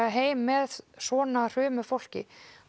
heim með svona hrumu fólki